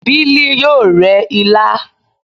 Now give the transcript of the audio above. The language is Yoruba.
Bili yoo re ila